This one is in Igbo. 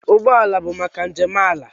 Ụgbọ ala bụ maka njem ala.